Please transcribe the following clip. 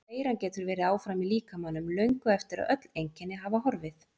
En veiran getur verið áfram í líkamanum löngu eftir að öll einkenni hafa horfið.